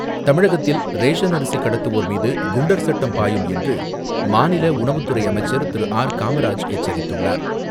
தமிழகத்தில் ரேஷன் அரிசி கடத்துவோர் மீது, குண்டர் சட்டம் பாயும் என்று, மாநில உணவுத்துறை அமைச்சர் திரு.ஆர்.காமராஜ் எச்சரித்துள்ளார்.